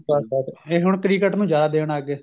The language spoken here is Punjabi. ਬੱਸ ਬੱਸ ਬੱਸ ਇਹ ਹੁਣ cricket ਨੂੰ ਜਿਆਦਾ ਦੇਣ ਲੱਗ ਗਏ